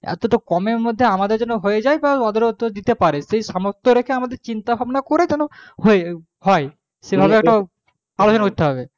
এতোটা কমের মধ্যে আমাদের যেন হয়ে যাই বা ওদের তো দিতে পারে যে সেই সামর্থ করে চিন্তা ভাবনা করে যেন হয় সমাধান কোনো হবে